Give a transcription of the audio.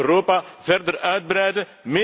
We gaan Europa verder uitbreiden.